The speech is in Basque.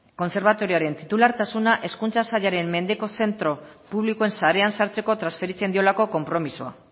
kontserbatorioaren titulartasuna hezkuntza sailaren mendeko zentro publikoen sarean sartzeko transferitzen diolako konpromisoa